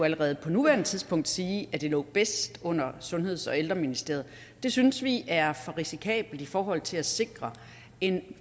allerede på nuværende tidspunkt sige at det lå bedst under sundheds og ældreministeriet synes vi er for risikabelt i forhold til at sikre en